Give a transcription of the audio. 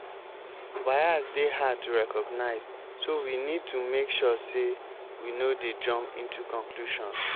bias dey hard to recognize so we need to make sure sey we no dey jump into conclusion